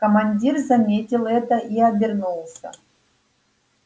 командир заметил это и обернулся